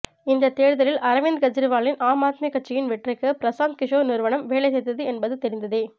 இந்த தேர்தலில் அரவிந்த் கெஜ்ரிவாலின் ஆம் ஆத்மி கட்சியின் வெற்றிக்கு பிரசாந்த் கிஷோர் நிறுவனம் வேலை செய்தது என்பது தெரிந்ததே